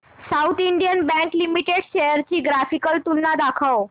south Indian bank limited shares ची graphical तुलना दाखव